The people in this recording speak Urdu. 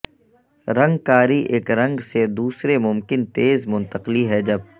رنگ کاری ایک رنگ سے دوسرے ممکن تیز منتقلی ہے جب